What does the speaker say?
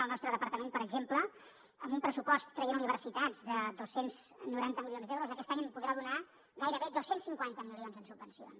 al nostre departament per exemple amb un pressupost traient universitats de dos cents i noranta milions d’euros aquest any podrà donar gairebé dos cents i cinquanta milions en subvencions